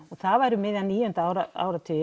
það var um miðjan níunda áratug